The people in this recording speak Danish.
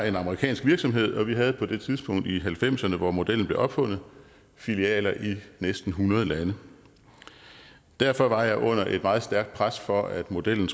en amerikansk virksomhed og vi havde på det tidspunkt i halvfemserne hvor modellen blev opfundet filialer i næsten hundrede lande derfor var jeg under et meget stærkt pres for at give modellen